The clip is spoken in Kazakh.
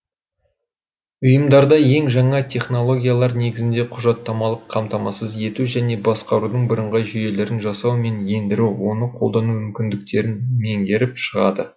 ұйымдарда ең жаңа технологиялар негізінде құжаттамалық қамтамасыз ету және басқарудың бірыңғай жүйелерін жасау мен ендіру оны қолдану мүмкіндіктерін меңгеріп шығады